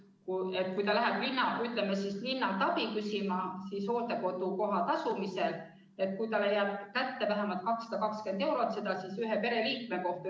Kui perekond läheb, ütleme, linnalt abi küsima hooldekodu koha tasumisel, siis jääb kätte vähemalt 220 eurot ühe pereliikme kohta.